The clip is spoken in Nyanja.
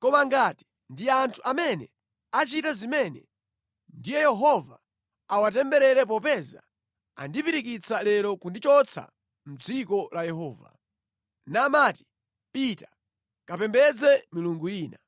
Koma ngati ndi anthu amene achita zimene, ndiye Yehova awatemberere popeza andipirikitsa lero kundichotsa mʼdziko la Yehova, namati, ‘Pita kapembedze milungu ina.’